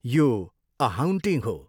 यो 'a haunting' हो।